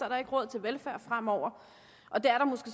der ikke råd til velfærd fremover og det er